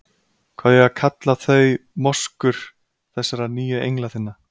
Hvað á ég að kalla þau- moskur- þessara nýju engla þinna.